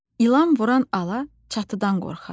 İlan vuran ala çatıda qorxar.